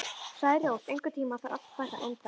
Særós, einhvern tímann þarf allt að taka enda.